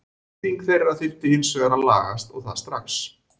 Nýting þeirra þurfi hins vegar að lagast og það strax.